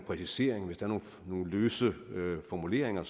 præciseringer hvis der er nogle løse formuleringer